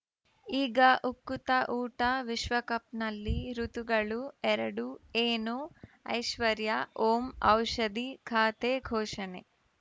ಈಗ ಉಕುತ ಊಟ ವಿಶ್ವಕಪ್‌ನಲ್ಲಿ ಋತುಗಳು ಎರಡು ಏನು ಐಶ್ವರ್ಯಾ ಓಂ ಔಷಧಿ ಖಾತೆ ಘೋಷಣೆ